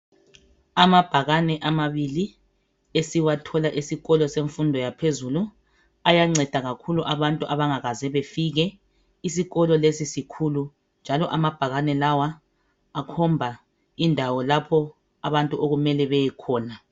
Amabhakane amabili esiwathola esikolo semfundo yaphezulu ayanceda kakhulu abantu angakaze bafike isikolo lesi sikhulu njalo amabhakane lawa akhomba indawo lapho abantu okumele bayekhona